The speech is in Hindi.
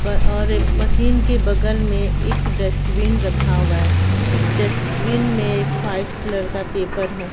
और मशीन के बगल में एक डस्टबिन रखा हुआ है उस डस्टबिन में एक व्हाइट कलर का पेपर है।